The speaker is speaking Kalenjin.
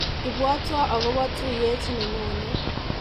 Ibwatwa akobo tuiyet nenyone.